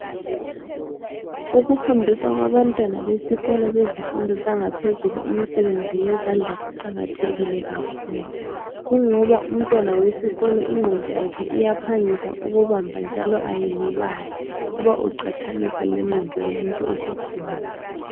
Ukufundiswa kwabantwana besikolo bezifundo zangaphezulu imisebenzi yezandla kuqakathekile kakhulu. Kungoba umntwana wesikolo ingqondo yakhe iyaphangisa ukubamba njalo ayilibali uba iqathanisa lengqondo yomuntu osekhulile.